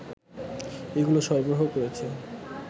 এগুলো সরবরাহ করেছে